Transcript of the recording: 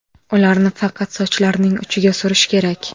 Ularni faqat sochlarning uchiga surish kerak.